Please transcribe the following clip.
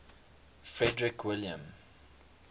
frederick william